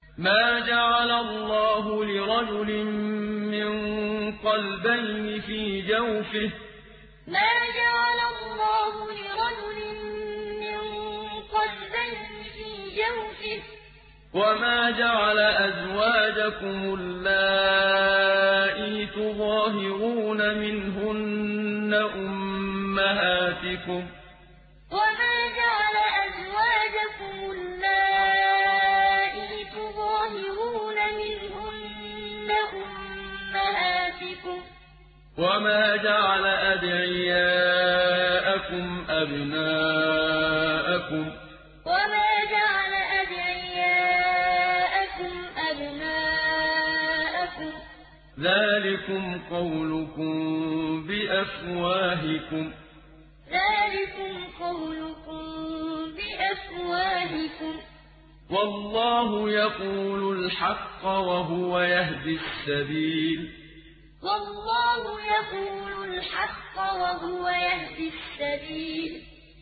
مَّا جَعَلَ اللَّهُ لِرَجُلٍ مِّن قَلْبَيْنِ فِي جَوْفِهِ ۚ وَمَا جَعَلَ أَزْوَاجَكُمُ اللَّائِي تُظَاهِرُونَ مِنْهُنَّ أُمَّهَاتِكُمْ ۚ وَمَا جَعَلَ أَدْعِيَاءَكُمْ أَبْنَاءَكُمْ ۚ ذَٰلِكُمْ قَوْلُكُم بِأَفْوَاهِكُمْ ۖ وَاللَّهُ يَقُولُ الْحَقَّ وَهُوَ يَهْدِي السَّبِيلَ مَّا جَعَلَ اللَّهُ لِرَجُلٍ مِّن قَلْبَيْنِ فِي جَوْفِهِ ۚ وَمَا جَعَلَ أَزْوَاجَكُمُ اللَّائِي تُظَاهِرُونَ مِنْهُنَّ أُمَّهَاتِكُمْ ۚ وَمَا جَعَلَ أَدْعِيَاءَكُمْ أَبْنَاءَكُمْ ۚ ذَٰلِكُمْ قَوْلُكُم بِأَفْوَاهِكُمْ ۖ وَاللَّهُ يَقُولُ الْحَقَّ وَهُوَ يَهْدِي السَّبِيلَ